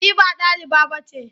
Ni ba ɗaliba ba ce.